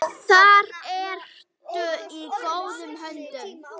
Þar ertu í góðum höndum.